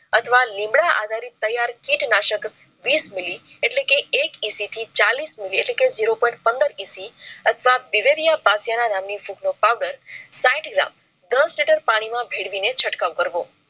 અથવા લીમડા આધારિત તૈયાર કીટનાશક વિસ મિલી એટલે કે એક EC થી ચાલીસ મીલી એટલે કે zero point પંદર EC અથવા બિરિયા પાસે ના નામની ફૂગ નો પાઉડર. saayit gram દસ લિટર પાણી માં ભેળવીને છંટકાવ કરવો